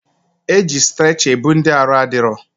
Eji strecha ebu ndị arụ adịrọ